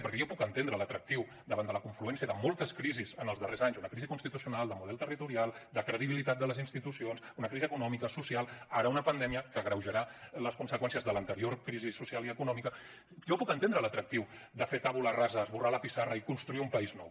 perquè jo puc entendre l’atractiu davant de la confluència de moltes crisis en els darrers anys una crisi constitucional de model territorial de credibilitat de les institucions una crisi econòmica social ara una pandèmia que agreujarà les conseqüències de l’anterior crisi social i econòmica jo puc entendre l’atractiu de fer tabula rasa esborrar la pissarra i construir un país nou